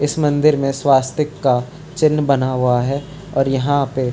इस मंदिर में स्वास्तिक का चिन्ह बना हुआ है और यहाँ पे --